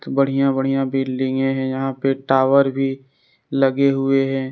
बढ़िया बढ़िया बिल्डिंगे हैं यहां पे टावर भी लगे हुए हैं।